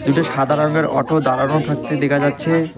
দুটো সাদা রংয়ের অটো দাঁড়ানো থাকতে দেকা যাচ্ছে।